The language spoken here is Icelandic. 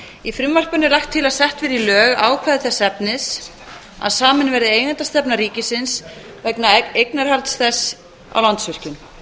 í frumvarpinu er lagt til að sett verði í lög ákvæði þess efnis að samin verði eigendastefna ríkisins vegna eignarhalds þess á landsvirkjun